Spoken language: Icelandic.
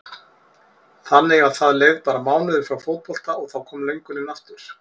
Þannig að það leið bara mánuður frá fótbolta og þá kom löngunin aftur?